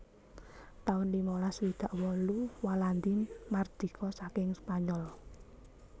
taun limalas swidak wolu Walandi mardika saking Spanyol